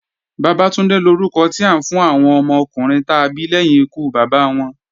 Bàbátúndé lórúkọ tí à ń fún àwọn ọmọkùnrin ta bí lẹ́yìn ikú Bàbá wọn.